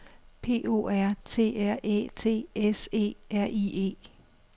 P O R T R Æ T S E R I E